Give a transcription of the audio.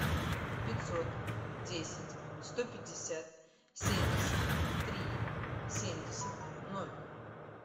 пятьсот десять сто пятьдесят семьдесят три семьдесят ноль